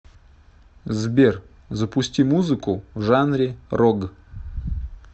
сбер запусти музыку в жанре рог